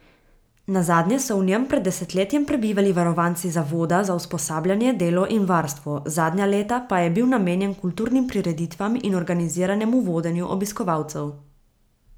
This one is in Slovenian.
Nazadnje so v njem pred desetletjem prebivali varovanci zavoda za usposabljanje, delo in varstvo, zadnja leta pa je bil namenjen kulturnim prireditvam in organiziranemu vodenju obiskovalcev.